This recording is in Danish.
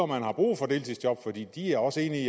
man har brug for deltidsjob for de er også enige i